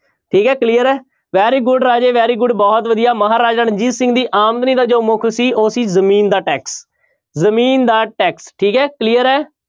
ਠੀਕ ਹੈ clear ਹੈੈ very good ਰਾਜੇ very good ਬਹੁਤ ਵਧੀਆ ਮਹਾਰਾਜਾ ਰਣਜੀਤ ਸਿੰਘ ਦੀ ਆਮਦਨੀ ਦਾ ਜੋ ਮੁੱਖ ਸੀ ਉਹ ਸੀ ਜ਼ਮੀਨ ਦਾ tax ਜ਼ਮੀਨ ਦਾ tax ਠੀਕ ਹੈ clear ਹੈ।